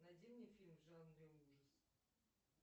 найди мне фильм в жанре ужасы